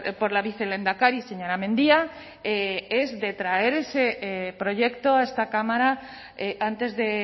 por la vicelehendakari señora mendia es de traer ese proyecto a esta cámara antes de